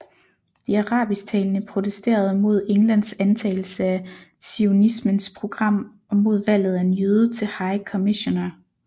De arabisktalende protesterede mod Englands antagelse af zionismens program og mod valget af en jøde til High Commissioner